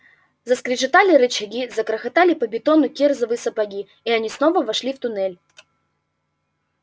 заскрежетали рычаги загрохотали по бетону кирзовые сапоги и они снова вошли в туннель